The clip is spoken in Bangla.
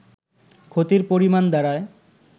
ক্ষতির পরিমাণ দাড়ায়